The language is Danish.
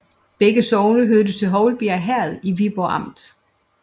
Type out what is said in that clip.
Begge sogne hørte til Houlbjerg Herred i Viborg Amt